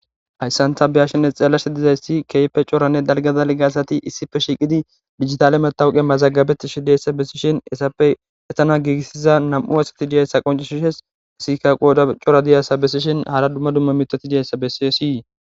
Hayssanta beyashenne xeellashi dizayssi keype coranne dalgadal ga asati issife shiiqidi digitale matawuqe mazagabetishi deessa bessishin essappe etana giigissiza nam'u asati diyayssa qoncishishes sika qoda cora diyasa besishin hala dumma dumma mitoti diyayssa bessisii.